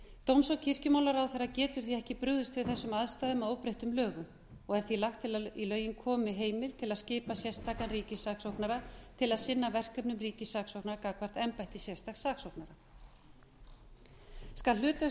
dóms og kirkjumálaráðherra getur því ekki brugðist við þessum aðstæðum að óbreyttum lögum og er því lagt til að í lögin komi heimild til að skipa sérstakan ríkissaksóknara til að sinna verkefnum ríkissaksóknara til a sinna verkefnum ríkissaksóknara gagnvart embættum sérstaks saksóknara skal hlutverk